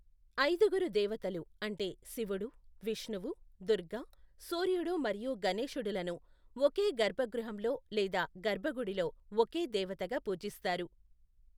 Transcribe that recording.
ఐదుగురు దేవతలు అంటే శివుడు, విష్ణువు, దుర్గ, సూర్యుడు మరియు గణేశుడులను ఒకే గర్భగృహంలో లేదా గర్భగుడిలో ఒకే దేవతగా పూజిస్తారు.